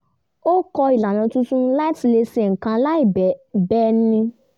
ó kọ́ ìlànà tuntun láti le ṣe nkan láì bẹni